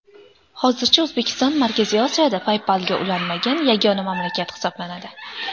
Hozircha O‘zbekiston Markaziy Osiyoda PayPal’ga ulanmagan yagona mamlakat hisoblanadi.